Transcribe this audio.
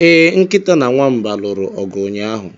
Ee, Nkịta na Nwamba lụrụ ọgụ ụnyaahụ.